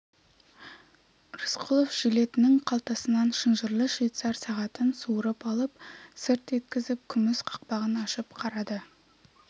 рысқұлов жилетінің қалтасынан шынжырлы швейцар сағатын суырып алып сырт еткізіп күміс қақпағын ашып қарады